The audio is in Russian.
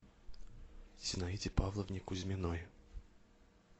зинаиде павловне кузьминой